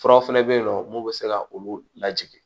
Furaw fana bɛ yen nɔ mun bɛ se ka olu lajigin